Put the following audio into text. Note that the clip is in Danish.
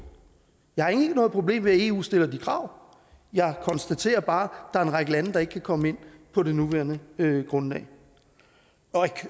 jeg har egentlig ikke noget problem med at eu stiller de krav jeg konstaterer bare at er en række lande der ikke kan komme ind på det nuværende grundlag og